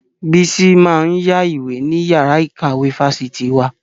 Bísí máa ń yá ìwé ní yàrá ìkàwé fáṣitì wa